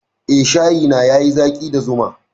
Eh, shayi na yayi zaƙi da zuma.